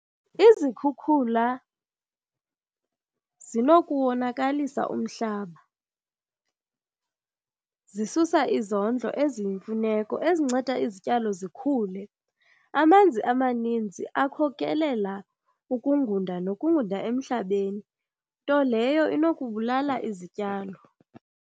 Izikhukhula zinokuwonakalisa umhlaba. Zisusa izondlo eziyimfuneko ezinceda izityalo zikhule. Amanzi amaninzi akhokelela ukungunda nokungunda emhlabeni, nto leyo inokubulala izityalo.